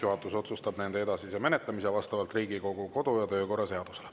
Juhatus otsustab nende edasise menetlemise vastavalt Riigikogu kodu- ja töökorra seadusele.